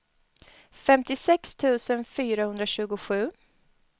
femtiosex tusen fyrahundratjugosju